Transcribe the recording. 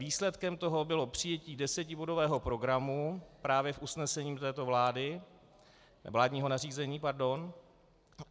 Výsledkem toho bylo přijetí desetibodového programu právě v usnesení této vlády , vládního nařízení, pardon.